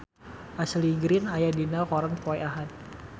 Ashley Greene aya dina koran poe Ahad